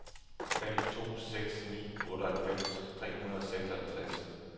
fem to seks ni otteoghalvfems tre hundrede og seksoghalvtreds